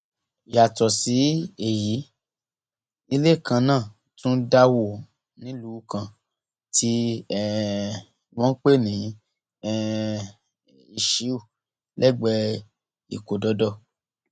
yàtọ sí èyí ilé kan náà tún dà wó nílùú kan tí um wọn ń pè ní um iṣíù lẹgbẹẹ ìkódọdọ